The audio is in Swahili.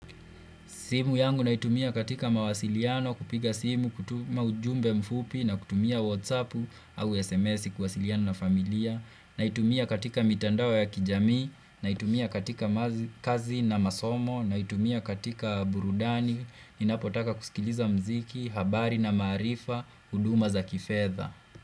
Simu yangu naitumia katika mawasiliano, kupiga simu, kutuma ujumbe mfupi na kutumia whatsapp au sms kuwasiliana na familia. Naitumia katika mitandao ya kijami, naitumia katika kazi na masomo, naitumia katika burudani, ninapotaka kusikiliza muziki, habari na maarifa, huduma za kifedha.